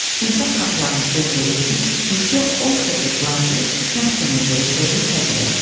İnsan haqlarını pozduğu üçün Missiya Oskar de Pş məhkəməyə verəcəyi ilə hədələdi.